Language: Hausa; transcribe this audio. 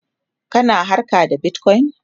kana harka da Bitcoin?